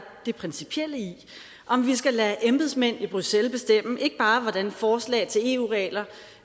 det principielle i om vi skal lade embedsmænd i bruxelles bestemme ikke bare hvordan forslag til eu regler